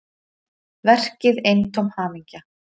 Verkið eintóm hamingja